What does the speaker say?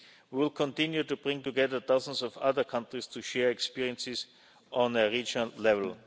We will continue to bring together dozens of other countries to share experiences on a regional level.